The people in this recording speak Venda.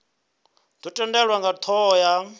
dzo tendelwa nga thoho ya